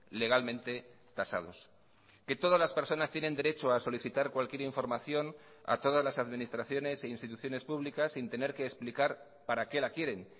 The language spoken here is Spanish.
legalmente tasados que todas las personas tienen derecho a solicitar cualquier información a todas las administraciones e instituciones públicas sin tener que explicar para qué la quieren